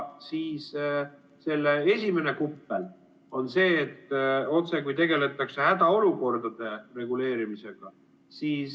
Selle esimene kuppel on see, et otsekui tegeldakse hädaolukordade reguleerimisega.